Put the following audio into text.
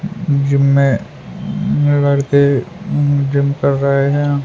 Gym में उम्म लड़के उम्म जिम कर रहे हैं।